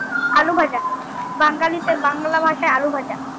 আলুভাজা বাঙ্গালীতে বাংলা ভাষায় আলুভাজা